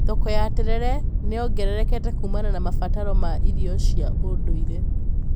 Thoko ya terere nĩnyongererekete kuumana na mabataro ma irio cia ndũire.